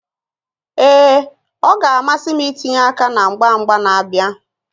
Ee, ọ ga-amasị m itinye aka na mgba mgba na-abịa